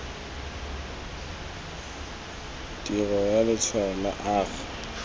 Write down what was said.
tirio ya letshwalo la r